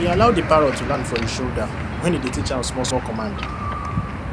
he allow the parrot to land for his shoulder when he dey teach am some small small command